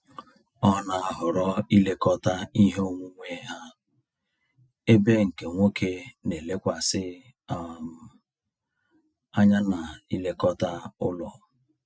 Ọ na-ahọrọ ilekọta ihe onwunwe ha, ebe nke nwoke na elekwasi um anya na-ilekọta ụlọ